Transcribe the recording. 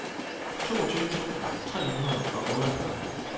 toogtyve tusind tre hundrede og otteogfyrre